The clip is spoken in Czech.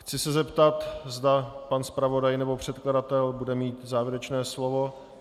Chci se zeptat, zda pan zpravodaj nebo předkladatel bude mít závěrečné slovo.